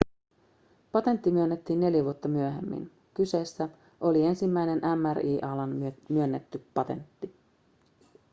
patentti myönnettiin neljä vuotta myöhemmin kyseessä oli ensimmäinen mri:n alalla myönnetty patentti